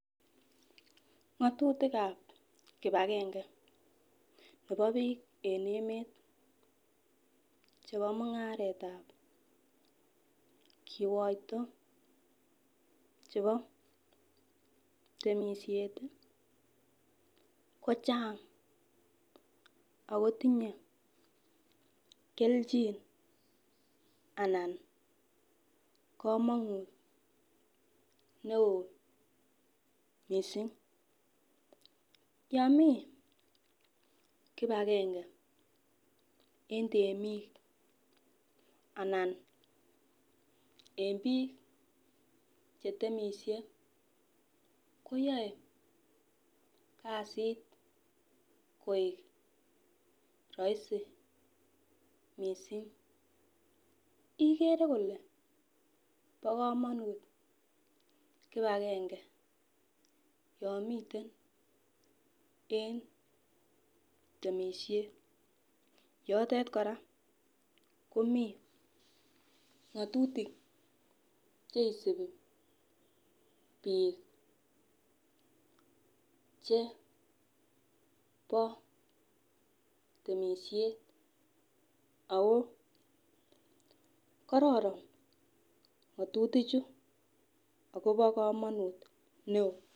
ng'atutikab kipakenge nebo biik en emet chebo mung'aretab kikoito chebo temisiet kochang akotinyee kelchin anan komonut ne oo missing, yomii kipakenge en temik anan en biik chetemisie koyoe kasit koik rahisi missing ,ikere kole bo kamonut kipakenge yon miten en temisiet ,yotet kora komii ng'atutik cheisipi biik chebo temisiet akoo kororon ng'atutichu akobo kamonut ne oo.